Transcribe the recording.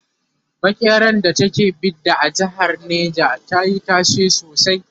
makeran da ta ke Bida a jehar neja tayi tashe sosai